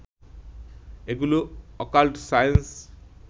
এগুলো occult science